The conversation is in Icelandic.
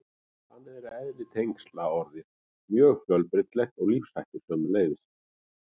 Þannig er eðli tengsla orðið mjög fjölbreytilegt og lífshættir sömuleiðis.